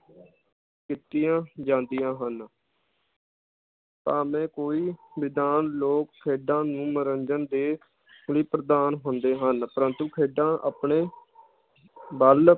ਕੀਤੀਆਂ ਜਾਂਦੀਆਂ ਹਨ ਭਾਵੇ ਕੋਈ ਵਿਧਾਨ ਲੋਕ ਖੇਡਾਂ ਨੂੰ ਮਨੋਰੰਜਨ ਦੇ ਲਈ ਪ੍ਰਧਾਨ ਹੁੰਦੇ ਹਨ ਪ੍ਰੰਤੂ ਖੇਡਾਂ ਆਪਣੇ ਬਲ